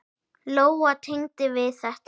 Lóa: Tengdi við þetta?